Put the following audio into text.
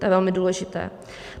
To je velmi důležité.